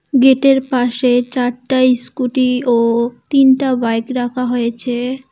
গেটের পাশে চারটা ইস্কুটি ও তিনটা বাইক রাখা হয়েছে।